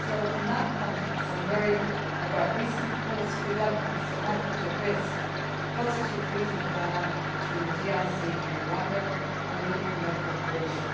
In that context, I am worried about recent reports of developments that might put at risk the positive regional dynamic between the DRC and Rwanda, and weaken their cooperation.